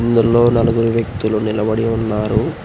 ఇందులో నలుగురు వ్యక్తులు నిలబడి ఉన్నారు.